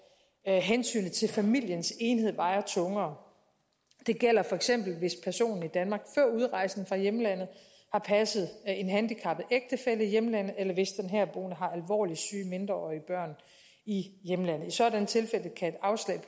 hensynet til familiens enhed vejer tungere det gælder feks hvis personen i danmark før udrejsen fra hjemlandet har passet en handicappet ægtefælle i hjemlandet eller hvis den herboende har alvorligt syge mindreårige børn i hjemlandet i sådanne tilfælde kan et afslag